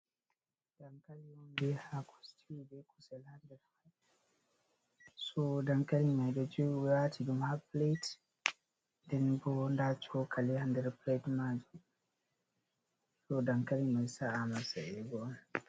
Dankali on bee haako situu, bee kusel ha nder, so dankali may ɗo joo, ɓe waati ɗum ha pilet. Nden bo ndaa cookali ha nder pilet maajum, so dankali may sa’a ama sa'eego on.